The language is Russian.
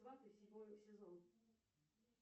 сваты седьмой сезон